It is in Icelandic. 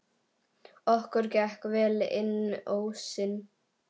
Okkur gekk vel inn ósinn.